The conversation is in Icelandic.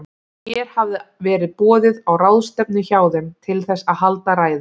Mér hafði verið boðið á ráðstefnu hjá þeim, til þess að halda ræðu.